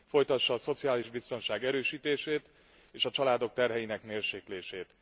Folytassa a szociális biztonság erősítését és a családok terheinek mérséklését.